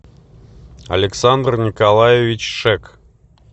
александр николаевич шек